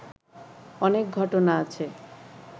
অনেক ঘটনা আছে